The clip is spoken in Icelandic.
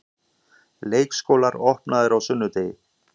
Leikskólar opnaðir á sunnudegi